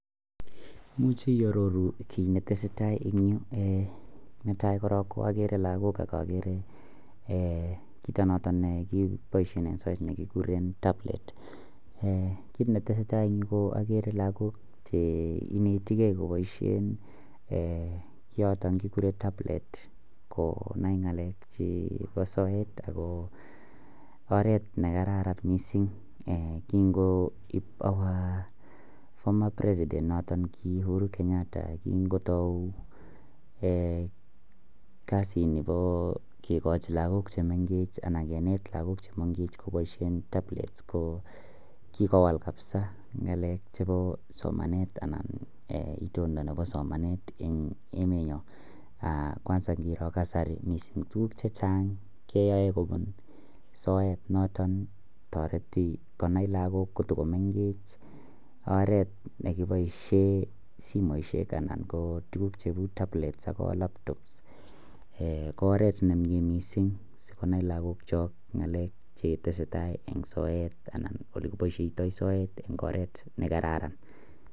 Imuche iyatoru kit netesetai en Yu netai korong agere lagok akoagere Chito noton nebaishen en soet nekikuren tablet kit netesetai en Yu koagere lagok Che ineti gei kobaishen en yoton kiguren tablet konai ngalek chebo soet ako oret nekararan mising kingoib our former president noton ki uhuru Kenyatta kokingotau kasi Nebo kekachi lagok chuton chemengechen anan kenet lagok chemengechen kobaishe tablets ko kikowal kabisa ngalek chebo somanet anan itondo Nebo somanet en emet nyon kwanza ngiro kasari tuguk chechang keyae kobun soet noton kotareti konai lakwet kotakomengech oret nekibaishen simoishek anan ko tuguk cheu tablet ak labtobsko oret nemie mising sikonaiblagok Chok ngalek chetesetai en soet anan olekibaishoitoi soet en oret nekararan